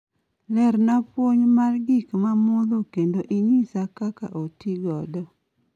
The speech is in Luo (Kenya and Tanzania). lerona puonj ma gik ma mudho kendo inyisa kaka otigodo